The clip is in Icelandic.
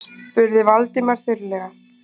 spurði Valdimar þurrlega.